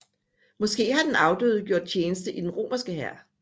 Måske har den afdøde gjort tjeneste i den romerske hær